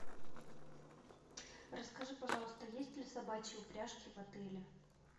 расскажи пожалуйста есть ли собачьи упряжки в отеле